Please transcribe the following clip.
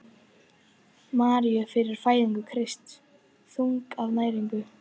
Maríu fyrir fæðingu Krists: þunguð af næringu.